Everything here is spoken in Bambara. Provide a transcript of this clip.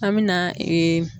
An me na .